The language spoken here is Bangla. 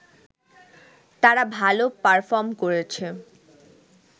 তারা ভাল পারফর্ম করেছে